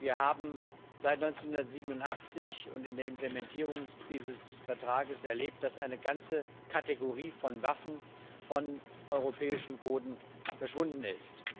Wir haben seit 1987 und in der Implementierungs dieses Vertrags erlebt, dass eine ganze Kategorie von Waffen von europäischem Boden verschwunden ist.